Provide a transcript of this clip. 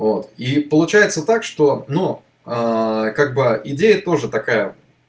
вот и получается так что но как бы идея тоже такая